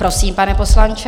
Prosím, pane poslanče.